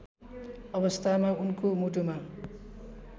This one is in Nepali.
अवस्थामा उनको मुटुमा